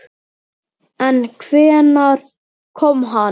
En hvenær kom hann?